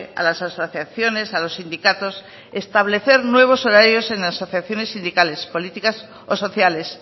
a las asociaciones a los sindicatos establecer nuevos horarios en asociaciones sindicales políticas o sociales